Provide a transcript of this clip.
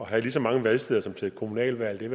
at have lige så mange valgsteder som til et kommunalvalg vil